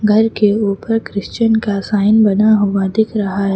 घर के ऊपर क्रिश्चियन का साइन बना हुआ दिख रहा है।